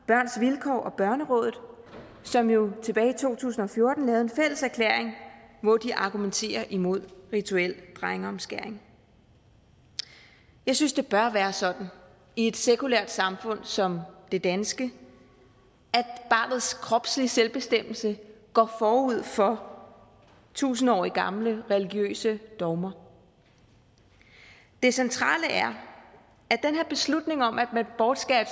børns vilkår og børnerådet som jo tilbage i to tusind og fjorten lavede en fælles erklæring hvor de argumenterer imod rituel drengeomskæring jeg synes det bør være sådan i et sekulært samfund som det danske at barnets kropslige selvbestemmelse går forud for tusindårige gamle religiøse dogmer det centrale er at den her beslutning om at man bortskærer et